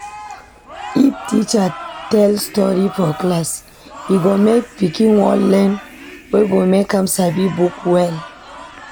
If teacher tell stori for class, e go make pikin wan learn wey go make am sabi book well.